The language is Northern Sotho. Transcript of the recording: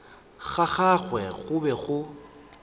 ga gagwe go be go